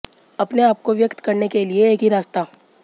अपने आप को व्यक्त करने के लिए एक ही रास्ता